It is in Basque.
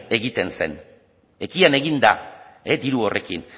egiten zen ekian egin da diru horrekin